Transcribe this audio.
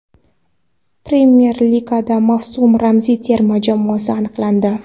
Premyer Ligada mavsum ramziy terma jamoasi aniqlandi.